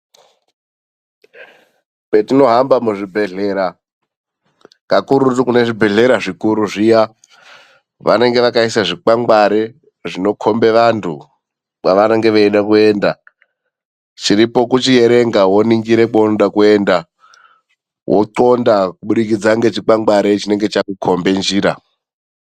Kwetinohamba muzvibhedhlera kakurutu kune zvibhedhlera zvikuru zviya , vanenge vakaisa zvikwangwari zvinokhomba vantu kwavanenge veida kuenda. Chiripo ndechekuningira wochitarisa kwaunenge uchida kuenda wonxonda kubudikidza nechikwangwari chinenge chakukhomba njira.